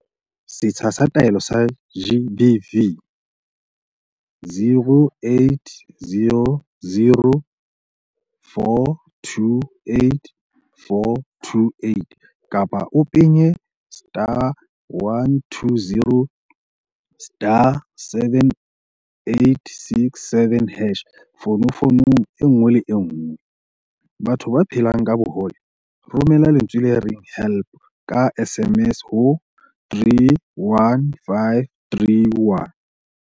Setsha sa Taelo sa GBV, 0800 428 428 kapa o penye *120*7867# fonofonong e nngwe le e nngwe. Batho ba phelang ka bohole, Romela lentswe le reng 'help' ka SMS ho 31531.